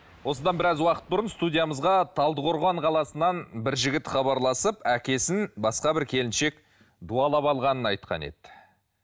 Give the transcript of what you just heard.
осыдан біраз уақыт бұрын студиямызға талдықорған қаласынан бір жігіт хабарласып әкесін басқа бір келіншек дуалап алғанын айтқан еді